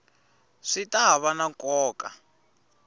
swi ta va na nkoka